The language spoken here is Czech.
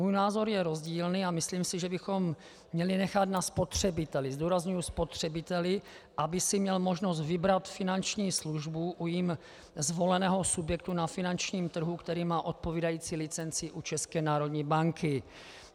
Můj názor je rozdílný a myslím si, že bychom měli nechat na spotřebiteli - zdůrazňuji spotřebiteli -, aby si měl možnost vybrat finanční službu u jím zvoleného subjektu na finančním trhu, který má odpovídající licenci u České národní banky.